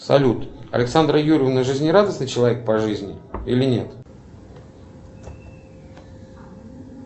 салют александра юрьевна жизнерадостный человек по жизни или нет